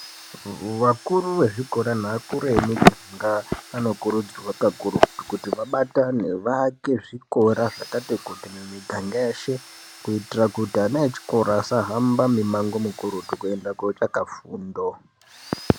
Vakuru vezvikora naakuru emuganga anokurudzirwa kakurutu kuti vabatane vaake zvikora zvakati kuti mumiganga yeshe kuitira kuti ana echikora asahambe mimango mikurutu kuenda kotsvaka fundo.